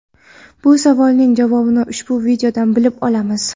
bu savolning javobini ushbu videodan bilib olamiz.